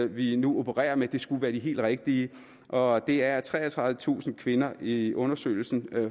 vi nu opererer med skulle være de helt rigtige og det er at treogtredivetusind kvinder i undersøgelsen